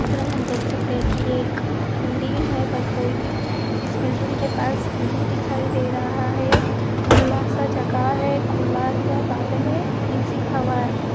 इस चित्र मे हम देख सकते हैं कि ये एक बिल्डिंग है पर कोई भी इस बिल्डिंग के पास नहीं दिखाई दे रहा है। खुला सा जगह है खुला सा बादल है खुली सी हवा है।